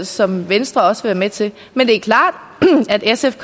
som venstre også vil være med til men det er klart at sf